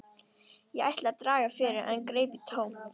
Ég ætlaði að draga fyrir en greip í tómt.